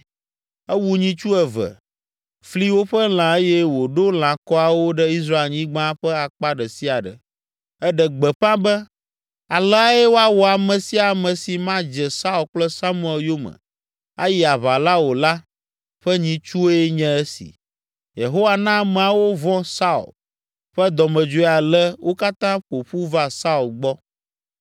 Ewu nyitsu eve, fli woƒe lã eye wòɖo lãkɔawo ɖe Israelnyigba ƒe akpa ɖe sia ɖe. Eɖe gbeƒã be, “Aleae woawɔ ame sia ame si madze Saul kple Samuel yome ayi aʋa o la ƒe nyitsue nye esi!” Yehowa na ameawo vɔ̃ Saul ƒe dɔmedzoe ale wo katã ƒo ƒu va Saul gbɔ.